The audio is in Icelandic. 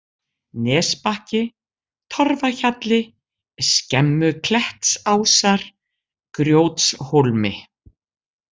Nesbakki, Torfahjalli, Skemmuklettsásar, Grjótshólmi